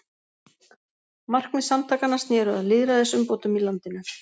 Markmið samtakanna sneru að lýðræðisumbótum í landinu.